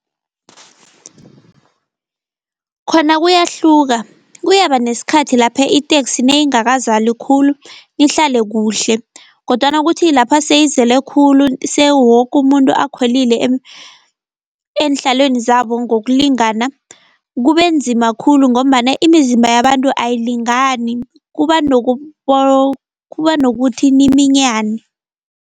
Khona kuyahluka, kuyaba neskhathi lapha iteksi nayingakazali khulu nihlale kuhle kodwana kuthi lapha seyizele khulu sewoke umuntu akhwelile eenhlalweni zabo ngokulingana, kube nzima khulu ngombana imizimba yabantu ayilingani kuba nokuthi niminyane.